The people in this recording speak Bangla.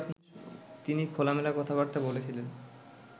তিনি খোলামেলা কথাবার্তা বলেছিলেন